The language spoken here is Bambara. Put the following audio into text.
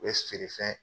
U bɛ feere fɛn